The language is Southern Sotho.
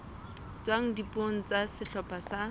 tswang dipuong tsa sehlopha sa